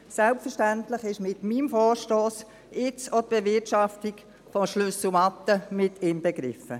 Selbstverständlich ist in meinem Vorstoss jetzt auch die Bewirtschaftung der Schlüsselmatte inbegriffen.